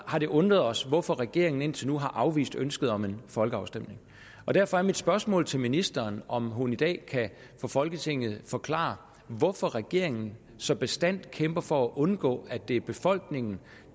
har det undret os hvorfor regeringen indtil nu har afvist ønsket om en folkeafstemning derfor er mit spørgsmål til ministeren om hun i dag for folketinget kan forklare hvorfor regeringen så bastant kæmper for at undgå at det er befolkningen